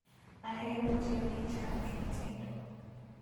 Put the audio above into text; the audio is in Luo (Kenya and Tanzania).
Ahero tiyo gi chak e tedo